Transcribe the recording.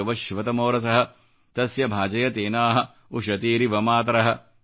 ಯೊ ವಃ ಶಿವತಮೊ ರಸಃ ತಸ್ಯ ಭಾಜಯತೆ ನಃ ಉಷತೀರಿವ ಮಾತರಃ